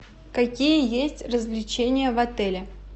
какие есть развлечения в отеле